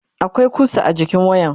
akwai kusa a jikin wayan